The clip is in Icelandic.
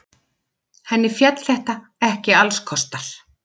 Henni féll þetta ekki allskostar.